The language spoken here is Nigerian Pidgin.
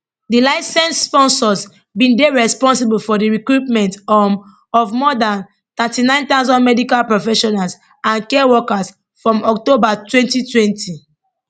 di licensed sponsors bin dey responsible for di recruitment um of more dan 39000 medical professionals and care workers from october 2020